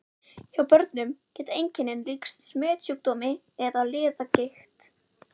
Hjá börnum geta einkennin líkst smitsjúkdómi eða liðagigt.